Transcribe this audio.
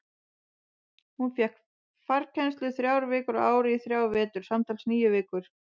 Hún fékk farkennslu þrjár vikur á ári í þrjá vetur, samtals níu vikur.